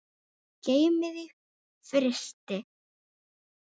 Geymið í frysti.